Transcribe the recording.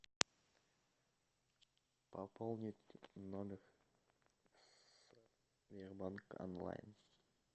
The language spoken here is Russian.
пополнить номер сбербанк онлайн